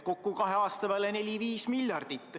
Kokku kahe aasta peale 4–5 miljardit.